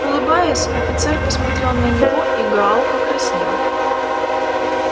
улыбаясь офицер посмотрел на него и гаал покраснел